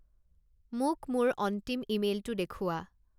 মোক মোৰ অন্তিম ইমেইলটো দেখুওৱা